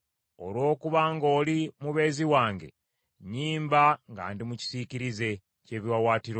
Olw’okuba ng’oli mubeezi wange, nnyimba nga ndi mu kisiikirize ky’ebiwaawaatiro byo.